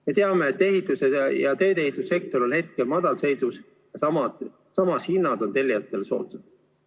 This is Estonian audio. Me teame, et ehitus- ja teedeehitussektor on hetkel madalseisus ja hinnad on tellijatele soodsad.